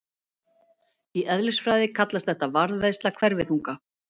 Í eðlisfræði kallast þetta varðveisla hverfiþunga.